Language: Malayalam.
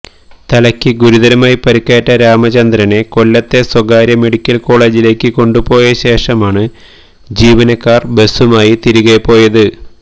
തലക്ക് ഗുരുതരമായി പരിക്കേറ്റ രാമചന്ദ്രനെ കൊല്ലത്തെ സ്വകാര്യ മെഡിക്കൽ കോളേജിലേക്ക് കൊണ്ടു പോയ ശേഷമാണ് ജീവനക്കാർ ബസുമായി തിരികെ പോയത്